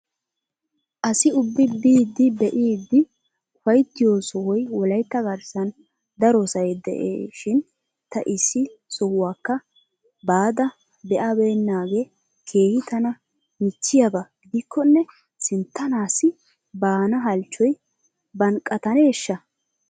Asi ubbi biidi be'idi uffayttiyo sohoy wolaytta garssan darosay de'ishin ta issi sohuwaakka baada be'abaynnaage keehi tana michchiyaaba gidikkonne sinttanaassi baana hallchchoy bannqqataneeshsha?